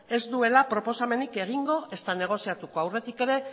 ez duela proposamenik egingo ezta negoziatuko aurretik ere